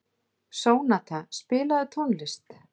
Sónata, spilaðu tónlist.